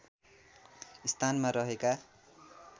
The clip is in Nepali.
स्थानमा रहेका